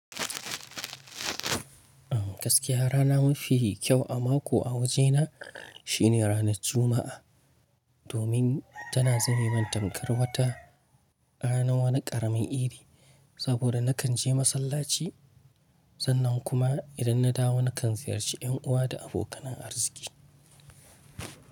Gaskiya rana mafi kyau a mako a wajena shine ranar Juma'a. Domin tana zame min tamkar wata ranan wani karamin idi. Saboda nakan je masallaci sannan kuma idan na dawo nakan ziyarci yan'uwa da abokanan arziki.